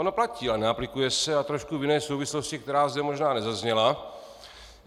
Ono platí, ale neaplikuje se, a trošku v jiné souvislosti, která zde možná nezazněla.